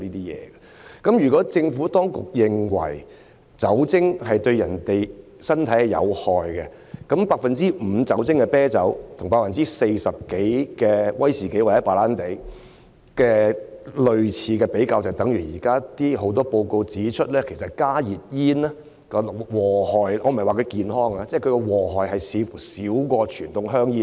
如果政府當局認為酒精對人體有害，那麼將 5% 酒精含量的啤酒與 40% 多酒精含量的威士忌或白蘭地比較，便等於現時有很多報告指出，其實加熱煙的危害——我不是說它是健康的——似乎較傳統香煙少。